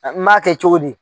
N m'a kɛ cogo di